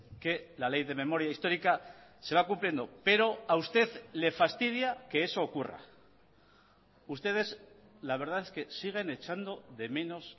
que la ley de memoria histórica se va cumpliendo pero a usted le fastidia que eso ocurra ustedes la verdad es que siguen echando de menos